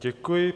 Děkuji.